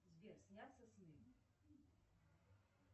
сбер снятся сны